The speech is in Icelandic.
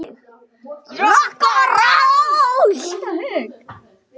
Rokk og ról!